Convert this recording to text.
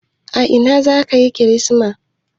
A ina za ka yi kirismas?